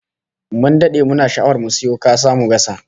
Mun dade muna sha'awar mu sayo kasa mu gasa